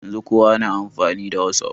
Yanzun kowa na amfani da whatsapp